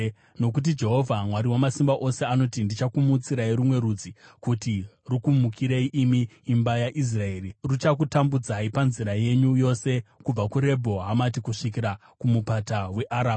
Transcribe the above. Nokuti Jehovha Mwari Wamasimba Ose anoti, “Ndichakumutsirai rumwe rudzi kuti rukumukirei, imi imba yaIsraeri, ruchakutambudzai panzira yenyu yose, kubva kuRebho Hamati kusvikira kumupata weArabha.”